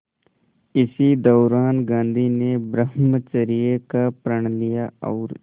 इसी दौरान गांधी ने ब्रह्मचर्य का प्रण लिया और